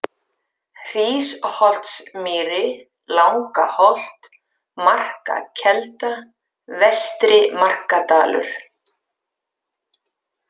Hrísholtsmýri, Langaholt, Markakelda, Vestri-Markadalur